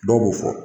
Dɔw b'o fɔ